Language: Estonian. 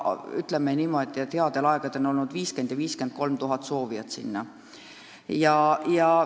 Headel aegadel on ära mahutatud 50 000 – 53 000 inimest.